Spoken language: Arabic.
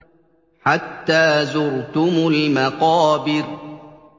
حَتَّىٰ زُرْتُمُ الْمَقَابِرَ